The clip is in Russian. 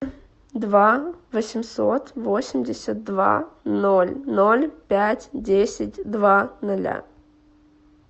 два восемьсот восемьдесят два ноль ноль пять десять два ноля